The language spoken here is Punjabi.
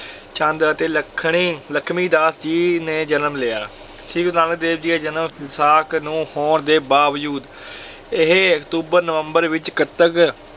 ਚੰਦ ਅਤੇ ਲੱਖਣੀ ਲੱਖਮੀ ਦਾਸ ਜੀ ਨੇ ਜਨਮ ਲਿਆ, ਸ੍ਰੀ ਗੁਰੂ ਨਾਨਕ ਦੇਵ ਜੀ ਦਾ ਜਨਮ ਵਿਸਾਖ ਨੂੰ ਹੋਣ ਦੇ ਬਾਵਜੂਦ ਇਹ ਅਕਤੂਬਰ ਨਵੰਬਰ ਵਿੱਚ ਕੱਤਕ